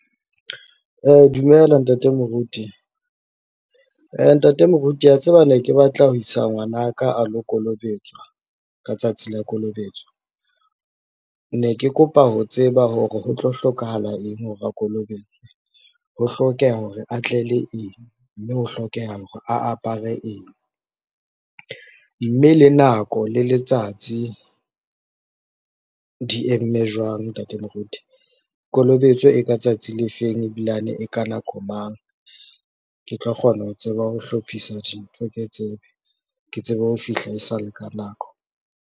Dumela ntate moruti. Ntate moruti a tseba ne ke batla ho isa ngwanaka a lo kolobetswa ka tsatsi la kolobetso, ne ke kopa ho tseba hore ho tlo hlokahala eng hore a kolobetswe. Ho hlokeha hore a tle le eng mme ho hlokeha hore a apare eng, mme le nako le letsatsi di eme jwang ntate moruti. Kolobetso e ka tsatsi le feng ebilane e ka nako mang, ke tlo kgona ho tseba ho hlophisa dintho ke tsebe, ke tsebe ho fihla e sa le ka nako.